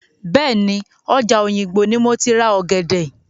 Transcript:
Bẹ́ẹ̀ni, ọjà òyìngbò ni moti ra ọ̀gẹ̀dẹ̀.